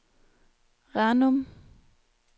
Ranum